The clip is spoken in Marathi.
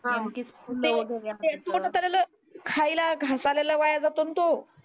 ते ते खायला घास आलेला वाया जातो ना तो